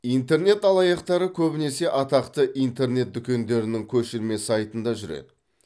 интернет алаяқтары көбінесе атақты интернет дүкендердің көшірме сайтында жүреді